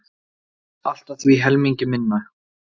Allt að því helmingi minna.